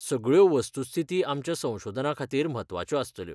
सगळ्यो वस्तुस्थिती आमच्या संशोधनाखातीर म्हत्वाच्यो आसतल्यो.